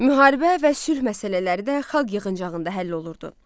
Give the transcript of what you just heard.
Müharibə və sülh məsələləri də xalq yığıncağında həll olurdu.